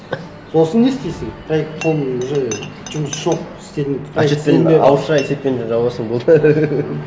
сосын не істейсің проект соның уже жұмысы жоқ істедің отчетпен ауызша отчетпен жабасың болды